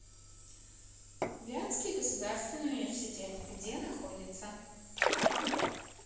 вятский государственный университет где находится